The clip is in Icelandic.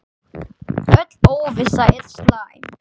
Öll óvissa er slæm.